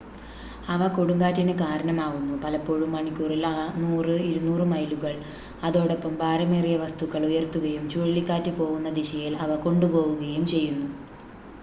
അവ കൊടുങ്കാറ്റിന് കാരണമാവുന്നു പലപ്പോഴും മണിക്കൂറിൽ 100 - 200 മൈലുകൾ അതോടൊപ്പം ഭാരമേറിയ വസ്തുക്കൾ ഉയർത്തുകയും ചുഴലിക്കാറ്റ് പോവുന്ന ദിശയിൽ അവ കൊണ്ടുപോവുകയും ചെയ്യുന്നു